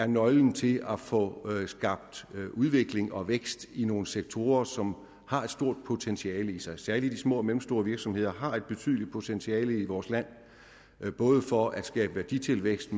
nøglen til at få skabt udvikling og vækst i nogle sektorer som har et stort potentiale i sig særlig de små og mellemstore virksomheder har et betydeligt potentiale i vores land både for at skabe værditilvækst